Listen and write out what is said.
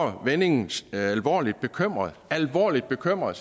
vendingen alvorligt bekymrede alvorligt bekymrede